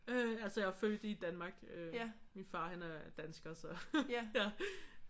Øh altså jeg er jo født i Danmark. Min far er dansker så